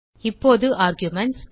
இப்போது ஆர்குமென்ட்ஸ்